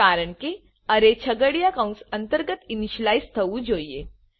કારણકે અરે છગડીયા કૌંસ અંતર્ગત ઇનીશલાઈઝ થવું જોઈએ